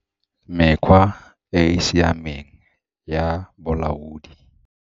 Mekgwa e e siameng ya bolaodi.